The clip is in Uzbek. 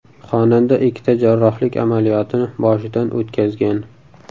Xonanda ikkita jarrohlik amaliyotini boshidan o‘tkazgan.